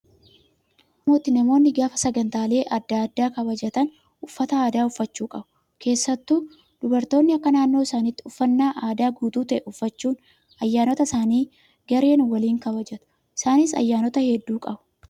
Akka aadaa oromootti namoonni gaafa sagantaalee adda addaa kabajatan uffata aadaa uffachuu qabu. Keessattuu dubartoonni akka naannoo isaaniitti uffannaa aadaa guutuu ta'e uffachuun ayyaanota isaanii gareen waliin kabajatu. Isaanis ayyaanota hedduu qabu.